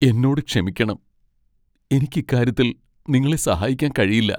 എന്നോട് ക്ഷമിക്കണം! എനിക്ക് ഇക്കാര്യത്തിൽ നിങ്ങളെ സഹായിക്കാൻ കഴിയില്ല.